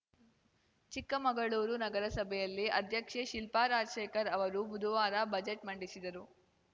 ಚಿಕ್ಕಮಗಳೂರು ನಗರಸಭೆಯಲ್ಲಿ ಅಧ್ಯಕ್ಷೆ ಶಿಲ್ಪಾ ರಾಜಶೇಖರ್‌ ಅವರು ಬುಧವಾರ ಬಜೆಟ್‌ ಮಂಡಿಸಿದರು